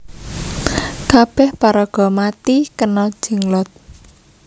Kabeh paraga mati kena Jenglot